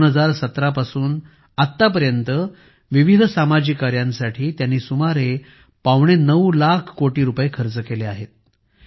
2017 पासून आतापर्यंत विविध सामाजिक कार्यांसाठी त्यांनी सुमारे पावणेनऊ कोटी रुपये खर्च केले आहेत